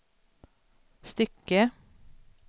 stycke